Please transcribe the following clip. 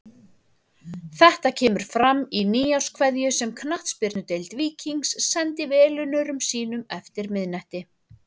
Þetta kemur fram í nýárskveðju sem Knattspyrnudeild Víkings sendi velunnurum sínum eftir miðnætti.